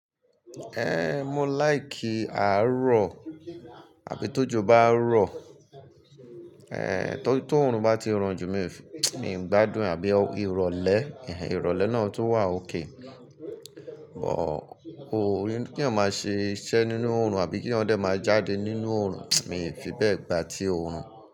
Ehn, mo like àárọ̀ àbí tójó bá rọ, eh, tó òórùn bá ti ran jù, mi ò fi, mi ò gbádùn àbí ìrọ̀lẹ́, ìhà ìrọ̀lẹ́ náà tó wà okay, but kò rí pé kí eeyan máa ṣe iṣẹ́ nínú òórùn àbí kí eeyan dẹ máa jáde nínú òórùn, mi ò fi bẹ gbà ti òórùn.